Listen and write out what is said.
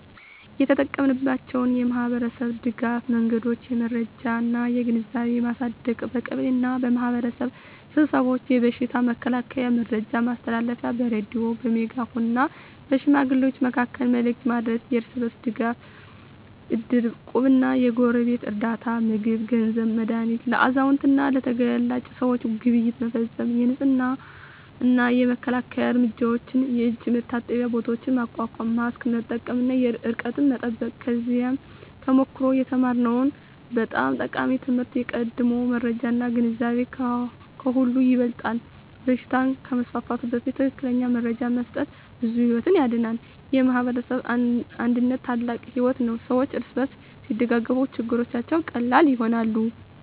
የተጠቀማችንባቸው የማኅበረሰብ ድጋፍ መንገዶች የመረጃ እና ግንዛቤ ማሳደግ በቀበሌ እና በማኅበረሰብ ስብሰባዎች የበሽታ መከላከያ መረጃ ማስተላለፍ በሬዲዮ፣ በሜጋፎን እና በሽማግሌዎች መካከል መልዕክት ማድረስ የእርስ በርስ ድጋፍ እድር፣ እቁብ እና የጎረቤት ርዳታ (ምግብ፣ ገንዘብ፣ መድሃኒት) ለአዛውንት እና ለተጋላጭ ሰዎች ግብይት መፈፀም የንፅህና እና መከላከያ እርምጃዎች የእጅ መታጠቢያ ቦታዎች ማቋቋም ማስክ መጠቀም እና ርቀት መጠበቅ ከዚያ ተሞክሮ የተማርነው በጣም ጠቃሚ ትምህርት የቀድሞ መረጃ እና ግንዛቤ ከሁሉ ይበልጣል በሽታ ከመስፋፋቱ በፊት ትክክለኛ መረጃ መስጠት ብዙ ሕይወት ያድናል። የማኅበረሰብ አንድነት ታላቅ ኃይል ነው ሰዎች እርስ በርስ ሲደጋገፉ ችግሮች ቀላል ይሆናሉ።